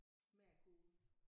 Med konen?